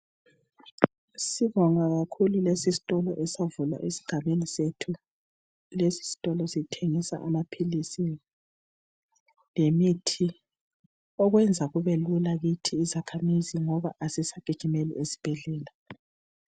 Sibonga kakhulu lesi sitolo esavulwa esigabeni sethu, lesi sitolo sithengisa amaphilisi lemithi okwenza kube lula kithi izakhamizi ngoba asisagijimeli esibhedlela.